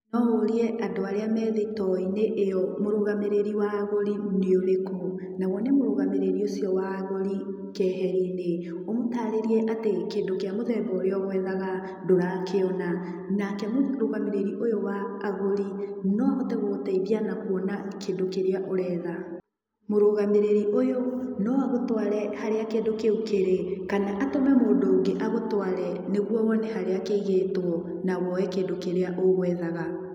No ũrie andũ arĩa me thitoo-inĩ ĩyo mũrũgamĩrĩri wa agũri nĩũrĩkũ, na wone mũgũrũgamĩrĩri ũcio wa agũri keheriinĩ, ũmũtarĩrie atĩ kĩndũ kĩa mũthemba ũrĩa ũgwethaga ndũrakĩona, nake mũrũgamĩrĩri ũyũ wa agũri no ahote gũgũteithia na kuona kĩndũ kĩrĩa ũretha.‎ Mũrũgamĩrĩri ũyũ no agũtware harĩa kĩndũ kĩu kĩrĩ kana atũme mũndũ ũngĩ agũtware nĩguo wone harĩa kĩigĩtwo na wone kĩndũ kĩrĩa ũgwethaga.